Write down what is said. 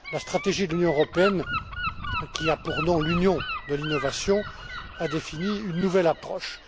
La stratégie de l'Union européenne, qui a pour nom Une Union de l'innovation, a défini une nouvelle approche.